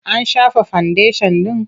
An shafa fandeshan ɗin?